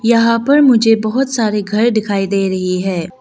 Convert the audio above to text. यहां पर मुझे बहोत सारे घर दिखाई दे रही है।